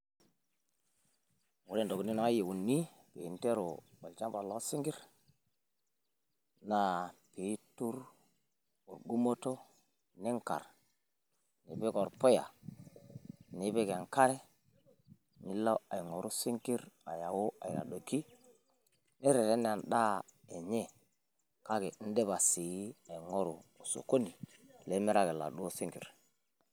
Ore intokitin naayieuni pee interu olchamba loosinkir naa peitur engumoto ninkar nipik orpuya nipik enkare lino aing'oru isinkir aayau aitadoki nireten endaa enye kake indipa sii aing'oru osokoni nimiraki iladuo sinkir.